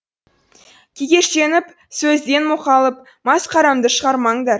кекештеніп сөзден мұқалып масқарамды шығармаңдар